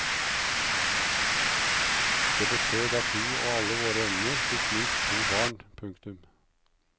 Det betød at vi og alle våre venner fikk minst to barn. punktum